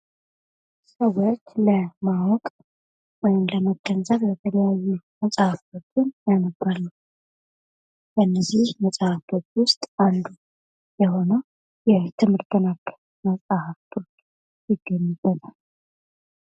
ሰዎች ለማወቅ ወይም ለመገንዘብ የተለያዩ መፅሃፎችን ያነባሉ:: ከነዚህ መፅሐፍቶች ዉስጥ አንዱ የሆነው የትምህርት ነክ መፅሐፍቶች ይገኙበታል::